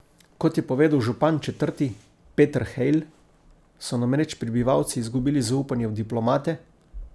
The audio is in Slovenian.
Kot je povedal župan četrti Petr Hejl, so namreč prebivalci izgubili zaupanje v diplomate.